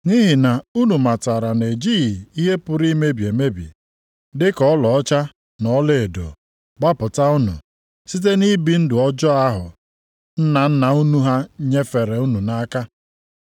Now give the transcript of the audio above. Nʼihi na unu matara na-ejighị ihe pụrụ imebi emebi, dịka ọlaọcha na ọlaedo gbapụta unu site nʼibi ndụ ọjọọ ahụ nna nna unu ha nyefere unu nʼaka